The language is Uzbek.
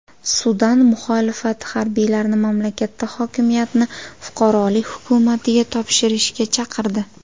Sudan muxolifati harbiylarni mamlakatda hokimiyatni fuqarolik hukumatiga topshirishga chaqirdi.